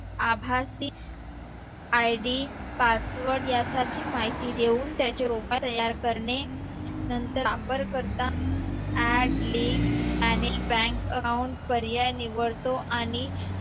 आभासी id password यासारखी माहिती देऊन त्याच्या लोकांना तयार करणे नंतर वापर करता ad link manage bank account पर्याय निवडतो आणि